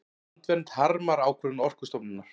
Landvernd harmar ákvörðun Orkustofnunar